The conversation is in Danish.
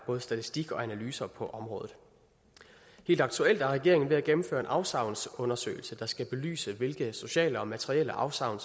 både statistikker og analyser på området helt aktuelt er regeringen ved at gennemføre en afsavnsundersøgelse der skal belyse hvilke sociale og materielle afsavn